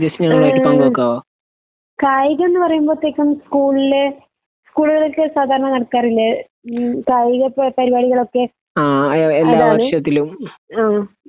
ഏഹ് കായികം ന്ന് പറയുമ്പത്തേക്കും സ്കൂൾ ൽ സ്കൂളിലൊക്കെ സാധാരണ നടത്താറില്ല ഉം കായിക പരിപാടികളൊക്കെ അതായത് ആ